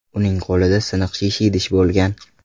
Uning qo‘lida siniq shisha idish bo‘lgan.